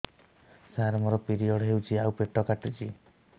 ସାର ମୋର ପିରିଅଡ଼ ହେଇଚି ଆଉ ପେଟ କାଟୁଛି